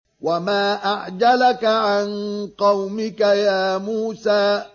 ۞ وَمَا أَعْجَلَكَ عَن قَوْمِكَ يَا مُوسَىٰ